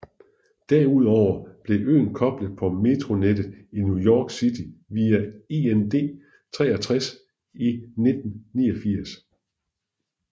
Derudover blev øen koblet på metronettet i New York City via IND 63 i 1989